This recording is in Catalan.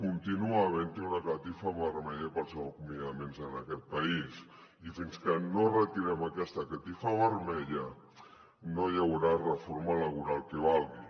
continua havent hi una catifa vermella per als acomiadaments en aquest país i fins que no retirem aquesta catifa vermella no hi haurà reforma laboral que valgui